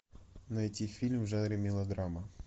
найти фильм в жанре мелодрама